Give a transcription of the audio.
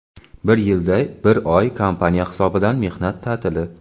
Bir yilda bir oy kompaniya hisobidan mehnat ta’tili.